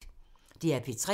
DR P3